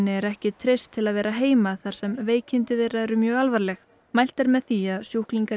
er ekki treyst til að vera heima þar sem veikindi þeirra eru mjög alvarleg mælt er með því að sjúklingar í